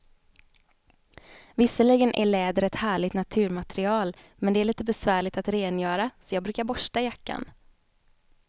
Visserligen är läder ett härligt naturmaterial, men det är lite besvärligt att rengöra, så jag brukar borsta jackan.